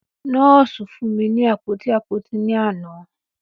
Nọọsi fun mi ni apoti apoti ni ana.